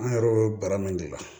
An yɛrɛ bɛ bara min de la